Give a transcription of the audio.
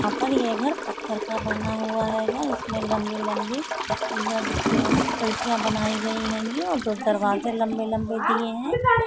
आपण ये घर पत्थर का बना हुआ हैं। इसमें लम्बी लम्बी खिड़किया बनाई गयी हैं और दो दरवाजे लंब लंबे दिये हैं।